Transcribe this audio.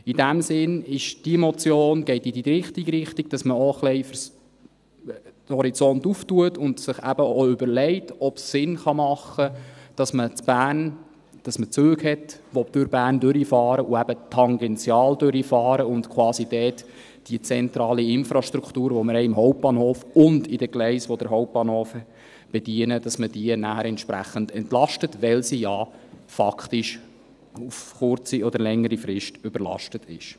In diesem Sinn geht diese Motion in die richtige Richtung, da man auch ein bisschen den Horizont öffnet und sich eben auch überlegt, ob es Sinn machen kann, dass man Züge hat, die durch Bern hindurchfahren und eben tangential durchfahren, um dort quasi die zentrale Infrastruktur, die wir im Hauptbahnhof haben und in den Gleisen, die den Hauptbahnhof bedienen, entsprechend zu entlasten, weil diese ja faktisch auf kurze oder längere Frist überlastet ist.